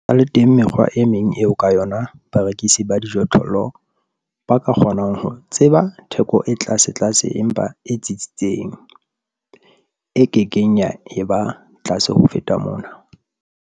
Ho sa le teng mekgwa e meng eo ka yona barekisi ba dijothollo ba ka kgonang ho tseba theko e tlasetlase empa e tsitsitseng, e ke keng ya eba tlase ho feta mona.